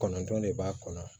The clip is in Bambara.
Kɔnɔntɔnne b'a kɔnɔ